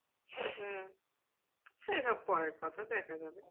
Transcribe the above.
হম সেসব পরের কথা দেখা যাবে।